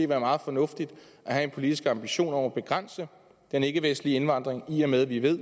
være meget fornuftigt at have en politisk ambition om at begrænse den ikkevestlige indvandring i og med at vi ved